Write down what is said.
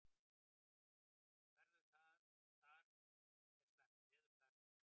Veður þar er slæmt.